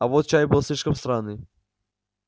а вот чай был слишком сраный